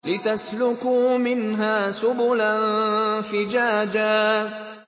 لِّتَسْلُكُوا مِنْهَا سُبُلًا فِجَاجًا